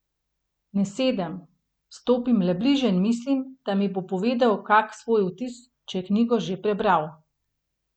Ne sedem, stopim le bliže in mislim, da mi bo povedal kak svoj vtis, če je knjigo že prebral.